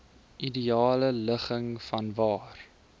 ideale ligging vanwaar